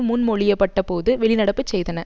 முன்மொழியப் பட்டபோது வெளிநடப்பு செய்தன